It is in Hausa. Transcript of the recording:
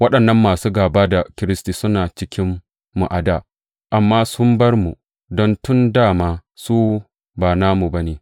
Waɗannan masu gāba da Kiristi suna cikinmu a dā, amma sun bar mu, don tun dā ma su ba namu ba ne.